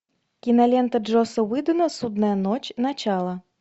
кинолента джосса уидона судная ночь начало